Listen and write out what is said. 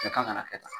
Bɛɛ kan ka kɛ tan